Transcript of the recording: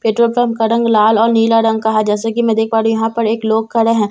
petrol pump का रंग लाल और नीला रंग है जैसे कि मैं देख पा रही हूं यहां पर एक लोग खड़े हैं जैसे कि मैं --